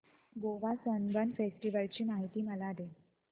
Goa Sunburn festival ची माहिती मला दे